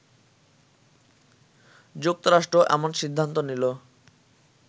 যুক্তরাষ্ট্র এমন সিদ্ধান্ত নিলো